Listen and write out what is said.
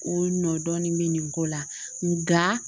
O nɔ dɔɔnin bɛ nin ko la nka